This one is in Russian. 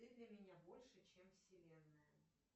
ты для меня больше чем вселенная